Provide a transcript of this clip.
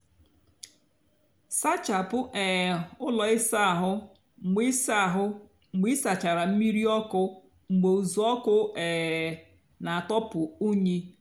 sáchápụ um úló ịsá áhụ́ mgbe ịsá áhụ́ mgbe ịsáchárá mmírí ọkụ mgbe uzuoku um nà-àtọpụ unyi.